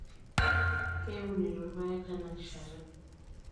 Keiunito irpaek tenarishata.